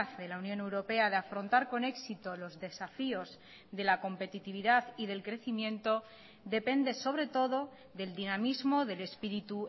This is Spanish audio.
de la unión europea de afrontar con éxito los desafíos de la competitividad y del crecimiento depende sobre todo del dinamismo del espíritu